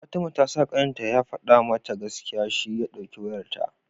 fatima tasa kanin ta ya fada mata gaskiya shi ya dauki wayarta